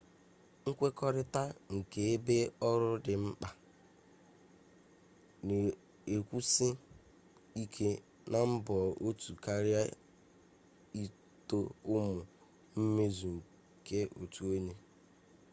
nkwekorita nke ebe oru di nkpa na-ekwusi ike na mbọ otu karịa ito ụmụ mmezu nke otu onye